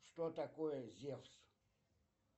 что такое зевс